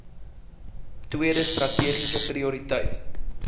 tweede strategiese prioriteit